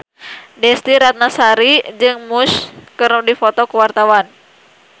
Desy Ratnasari jeung Muse keur dipoto ku wartawan